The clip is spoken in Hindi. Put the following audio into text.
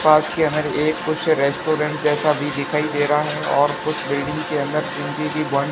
पास कि अगर एक कुछ रेस्टोरेंट जैसा भी दिखाई दे रहा है और कुछ बिल्डिंग के अंदर सीढ़ी भी बन--